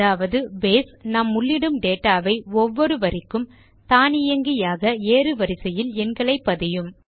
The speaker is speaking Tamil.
அதாவது பேஸ் நாம் உள்ளிடும் டேட்டா வை ஒவ்வொரு வரிக்கும் தானியங்கியாக ஏறு வரிசையில் எண்களை பதியும்